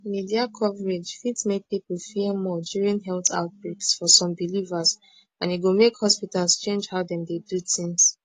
media coverage fit make people fear more during health outbreaks for some believers and e go make hospitals change how dem dey do tins